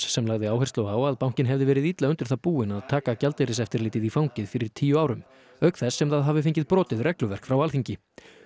sem lagði áherslu á að bankinn hefði verið illa undir það búinn að taka gjaldeyriseftirlitið í fangið fyrir tíu árum auk þess sem það hafi fengið brotið regluverk frá Alþingi